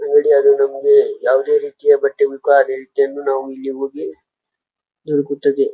ಅಗಡಿಯರು ನಮ್ಗೆ ಯಾವದೆ ರೀತಿಯ ಬಟ್ಟೆ ಬೇಕು ಅದೇ ರೀತಿಯನ್ನು ನಾವು ಇಲ್ಲಿ ಹೋಗಿ ದೊರಕುತ್ತದೆ.